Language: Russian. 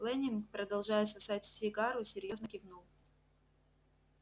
лэннинг продолжая сосать сигару серьёзно кивнул